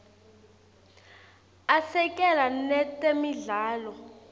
asekela netemidlalo